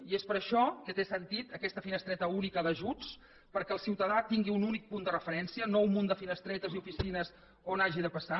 i és per això que té sentit aquesta finestreta única d’ajuts perquè el ciutadà tingui un únic punt de referència no un munt de finestretes i oficines per on hagi de passar